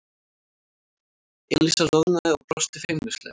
Elísa roðnaði og brosti feimnislega.